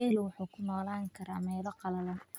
Geelu wuxuu ku noolaan karaa meelo qallalan.